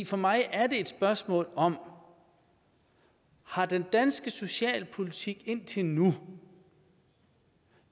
for mig er det et spørgsmål om har den danske socialpolitik indtil nu